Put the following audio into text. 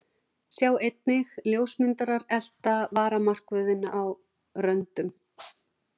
Sjá einnig: Ljósmyndarar elta varamarkvörðinn á röndum